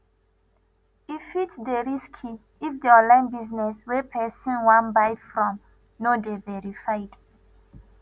e fit dey risky if di online business wey person wan buy from no dey verified